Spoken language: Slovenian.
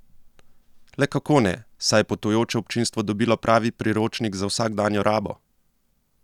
Le kako ne, saj je potujoče občinstvo dobilo pravi priročnik za vsakdanjo rabo!